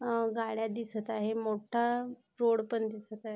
अ गाड्या दिसत आहे मोठा रोड पण दिसत आहे.